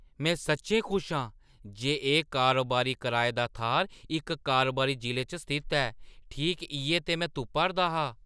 में सच्चैं खुश आं जे एह् कारोबारी कराए दा थाह्‌र इक कारोबारी जिले च स्थित ऐ। ठीक इʼयै ते में तुप्पा 'रदा हा।